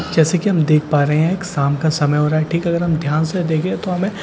जैसे कि हम देख पा रहे हैं शाम का समय हो रहा है ठीक है अगर हम ध्यान से देखें तो हमें --